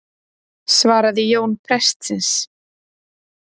svaraði Jón prestsins.